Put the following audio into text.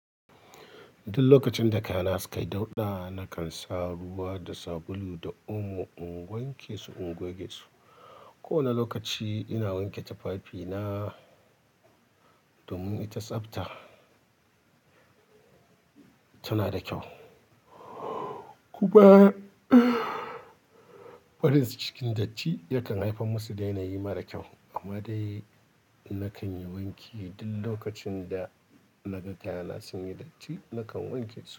Duk lokacin da kayana sukayi dauɗa nakan sa ruwa da sabulu da omo in wanke su in goge su. Ko wane lokaci ina wanke tufafina domin ita tsafta tana da kyau. Kuba farin cikin datti yakan haifar musu da yanayi mara kyau. Amma dai nakan yi wanki duk lokacin da naga kayana sun yi datti nakan wanke su.